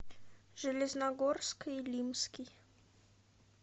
железногорск илимский